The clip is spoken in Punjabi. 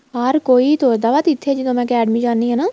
ਬਹਾਰ ਕੋਈ ਤੁਰਦਾ ਵਾ ਤੇ ਇੱਥੇ ਜਦੋਂ ਮੈਂ academy ਜਾਣੀ ਆ ਨਾ